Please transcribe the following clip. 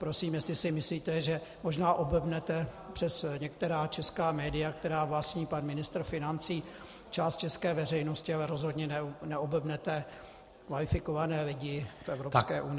Prosím, jestli si myslíte, že možná oblbnete přes některá česká média, která vlastní pan ministr financí, část české veřejnosti, ale rozhodně neoblbnete kvalifikované lidi v Evropské unii.